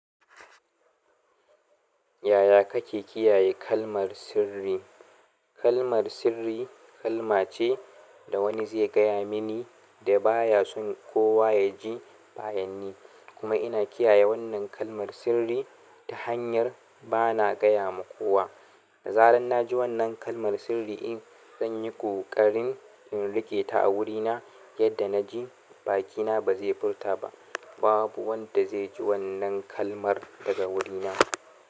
Yaya kake kiyaye kalmar sirri? Kalmar sirri kalma ce da wani zai gaya mini da baya son kowa ya ji bayanni. Kuma ina kiyaye wannan kalmar sirri ta hanyar bana gaya wa kowa. Da zaran na ji wannan kalmar sirri, in tsanyi ƙoƙarin in riƙe ta a wurina yadda na ji, bakina ba zai furta ba. Babu wanda zai ji wannan kalmar daga wurina.